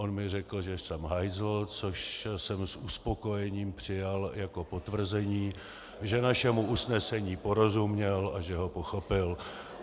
On mi řekl, že jsem hajzl, což jsem s uspokojením přijal jako potvrzení, že našemu usnesení porozuměl a že ho pochopil.